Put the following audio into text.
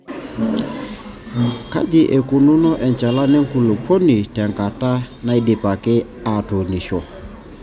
Kaji eikununo enchalan enkulupuoni te nkata naidipaki aatunisho.